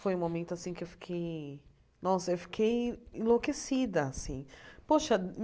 Foi um momento assim que eu fiquei enlouquecida assim. Poxa